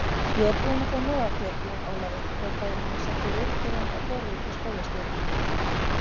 Ég er búin að fá nóg af þér, Jón Ólafur hrópaði hún og setti ritgerðina á borðið hjá skólastjóranum.